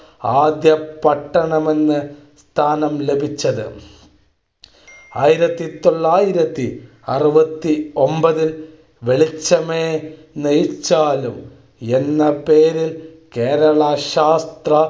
ആദ്യ പട്ടണമെന്ന സ്ഥാനം ലഭിച്ചത്. ആയിരത്തി തൊള്ളായിരത്തി അറുപത്തി ഒൻപതു വെളിച്ചമേ നയിച്ചാലും എന്ന പേരിൽ കേരളം ശാസ്ത്ര